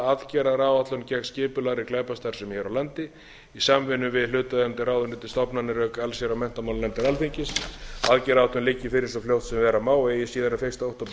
aðgerðaráætlun gegn skipulagðri glæpastarfsemi hér á landi í samvinnu við hlutaðeigandi ráðuneyti og stofnanir auk allsherjar og menntamálanefndar alþingis aðgerðaáætlunin liggi fyrir svo fljótt sem verða má og eigi síðar en fyrsta október tvö þúsund og